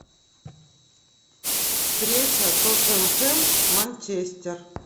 встреча тоттенхэм манчестер